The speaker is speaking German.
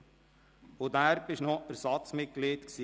Danach waren Sie noch Ersatzmitglied